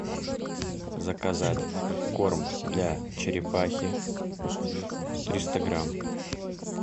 заказать корм для черепахи триста грамм